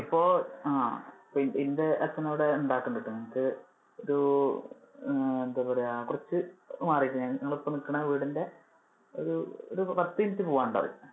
ഇപ്പൊ അഹ് പ്പൊ എന്‍ടെ അച്ഛന്‍ ഇവിടെ ഉണ്ടാകുന്നുണ്ടെട്ടോ ഒരു ആഹ് എന്താ പറയാ കുറച്ചു മാറിട്ട് ഞങ്ങൾ ഇപ്പൊ നിൽക്കുന്ന വീടിന്‍ടെ ഒരു പത്തു minute പോകാൻ ഉണ്ടാകും.